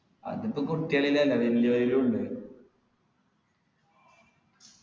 അതിപ്പോ കുട്ടികളിലല്ല വെല്യവരിലുംണ്ട്